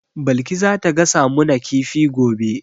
Balki za ta gasa mu na kifi gobe